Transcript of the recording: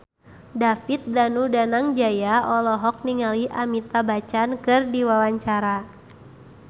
David Danu Danangjaya olohok ningali Amitabh Bachchan keur diwawancara